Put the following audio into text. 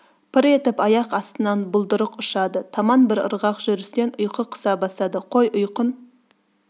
пыр етіп аяқ астынан бұлдырық ұшады таман бірырғақ жүрістен ұйқы қыса бастады қой ұйқың